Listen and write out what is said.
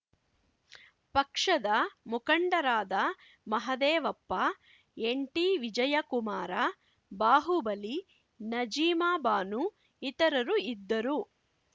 ಪಕ್ಷದ ಮುಖಂಡರಾದ ಮಹದೇವಪ್ಪ ಎನ್‌ಟಿವಿಜಯಕುಮಾರ ಬಾಹುಬಲಿ ನಜೀಮಾ ಬಾನು ಇತರರು ಇದ್ದರು